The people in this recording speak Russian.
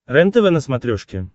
рентв на смотрешке